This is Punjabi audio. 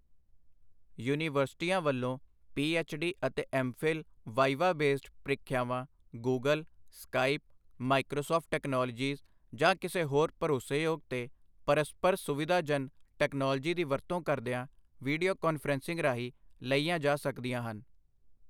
ਯੂਨੀਵਰਸਿਟੀਆਂ ਵੱਲੋਂ ਪੀ ਐੱਚ.ਡੀ. ਅਤੇ ਐੱਮ.ਫ਼ਿਲ ਵਾਈਵਾ ਵੇਸਡ ਪ੍ਰੀਖਿਆਵਾਂ ਗੂਗਲ, ਸਕਾਈਪ, ਮਾਈਕ੍ਰੋਸਾਫ਼ਟ ਟੈਕਨਾਲੋਜੀਸ ਜਾਂ ਕਿਸੇ ਹੋਰ ਭਰੋਸੇਯੋਗ ਤੇ ਪਰਸਪਰ ਸੁਵਿਧਾਜਨ ਤਕਨਾਲੋਜੀ ਦੀ ਵਰਤੋਂ ਕਰਦੀਆਂ ਵੀਡੀਓ ਕਾਨਫ਼ਰੰਸਿੰਗ ਰਾਹੀਂ ਲਈਆਂ ਜਾ ਸਕਦੀਆਂ ਹਨ।